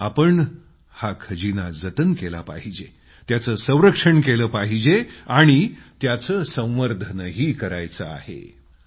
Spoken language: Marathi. आपण हा खजिना जतन केला पाहिजे त्याचं संरक्षण केलं पाहिजे आणि तो एक्सप्लोअरही करण्याची अनुभवण्याची गरज आहे